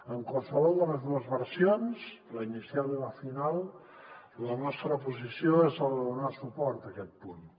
en qualsevol de les dues versions la inicial i la final la nostra posició és la de donar suport a aquest punt